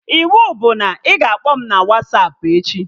Iwu bụ na ị ga-akpọ m na Wasapụ echi!